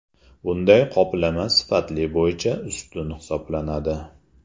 Bunday qoplama sifati bo‘yicha ustun hisoblanadi.